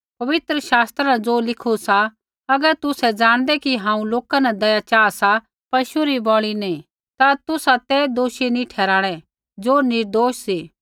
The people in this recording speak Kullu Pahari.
पवित्र शास्त्रा न ज़ो लिखू सा अगर तुसै ज़ाणदै कि हांऊँ लोका न दया चाहा सा पशु री बलि नी ता तुसा ते दोषी नी ठहराणै ज़ो निर्दोष सा